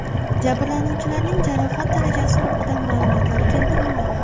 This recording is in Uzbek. Jabrlanuvchilarning jarohat darajasi haqida ma’lumotlar keltirilmagan.